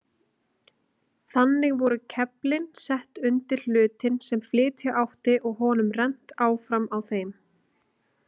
Þannig voru keflin sett undir hlutinn sem flytja átti og honum rennt áfram á þeim.